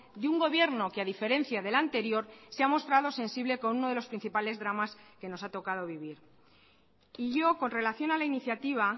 de un gobierno que ha diferencia del anterior se ha mostrado sensible con uno de los principales dramas que nos ha tocado vivir y yo con relación a la iniciativa